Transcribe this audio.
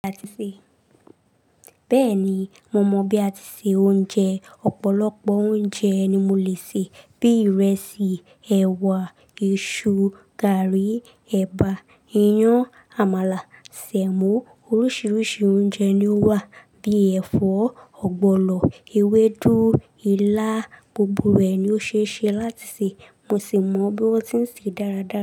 Bẹ́ẹ̀ni, mo mọ bí a ti de oúnjẹ, ọ̀pọ̀lọpọ̀ oúnjẹ ni mo lè sè, bíi ìrẹsì, ẹwà, iṣu, garri, ẹ̀bà, iyán, àmàlà, semo oríṣiríṣi oúnjẹ ni ó wà bíi ẹ̀fọ́, ọ̀gbọ̀lọ̀, ewédú, ilá, gbogbo rẹ̀ ni ó ṣeé ṣe láti sè, mo sì mọ bí wọ́n ti ń sè é dáradára.